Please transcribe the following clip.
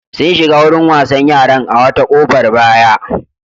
Sun shiga wurin wasan yaran a wata ƙofar baya.